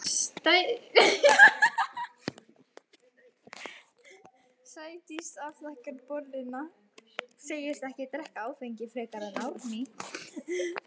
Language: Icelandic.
Sædís afþakkar bolluna, segist ekki drekka áfengi frekar en Árný.